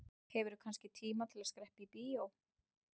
Hefurðu kannski tíma til að skreppa í bíó?